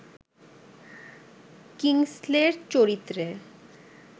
কিংসলের চরিত্রে